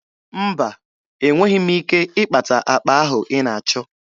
Mba, enweghi m ike ịkpata akpa ahụ ị na-achọ.